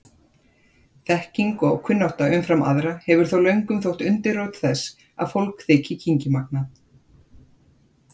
Þekking og kunnátta umfram aðra hefur þó löngum þótt undirrót þess að fólk þyki kynngimagnað.